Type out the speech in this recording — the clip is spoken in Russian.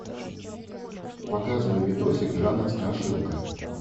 показывай видосик жанр страшилка